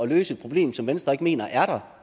løse et problem som venstre ikke mener er der